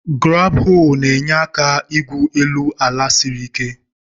Graab-hoo na-enye aka igwu elu ala siri ike.